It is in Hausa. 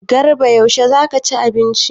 Garba yaushe za ka ci abinci?